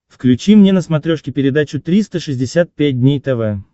включи мне на смотрешке передачу триста шестьдесят пять дней тв